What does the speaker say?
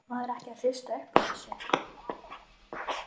Verður maður ekki að hrista upp í þessu?